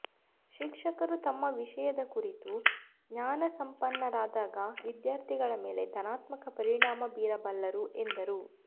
ಶಿಕ್ಷಕರು ತಮ್ಮ ವಿಷಯದ ಕುರಿತು ಜ್ಞಾನಸಂಪನ್ನರಾದಾಗ ವಿದ್ಯಾರ್ಥಿಗಳ ಮೇಲೆ ಧನಾತ್ಮಕ ಪರಿಣಾಮ ಬೀರಬಲ್ಲರು ಎಂದರು